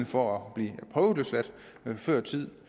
for at blive prøveløsladt før tid